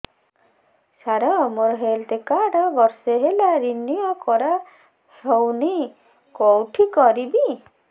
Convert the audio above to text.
ସାର ମୋର health card ବର୍ଷେ ହେଲା ରିନିଓ କରା ହଉନି କଉଠି କରିବି